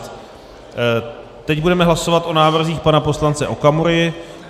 Teď budeme hlasovat o návrzích pana poslance Okamury.